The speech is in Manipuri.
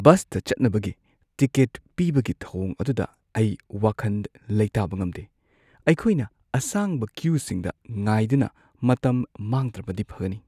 ꯕꯁꯇ ꯆꯠꯅꯕꯒꯤ ꯇꯤꯀꯦꯠ ꯄꯤꯕꯒꯤ ꯊꯧꯑꯣꯡ ꯑꯗꯨꯗ ꯑꯩ ꯋꯥꯈꯟ ꯂꯩꯇꯥꯕ ꯉꯝꯗꯦ; ꯑꯩꯈꯣꯏꯅ ꯑꯁꯥꯡꯕ ꯀ꯭ꯌꯨꯁꯤꯡꯗ ꯉꯥꯏꯗꯨꯅ ꯃꯇꯝ ꯃꯥꯡꯗ꯭ꯔꯕꯗꯤ ꯐꯒꯅꯤ꯫